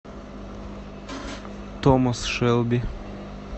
томас шелби